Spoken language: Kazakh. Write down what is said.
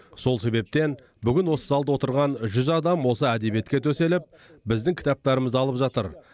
сол себептен бүгін осы залда отырған жүз адам осы әдебиетке төселіп біздің кітаптарымызды алып жатыр